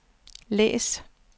læs